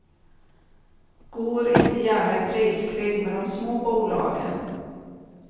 Går inte gärna i priskrig med de små bolagen.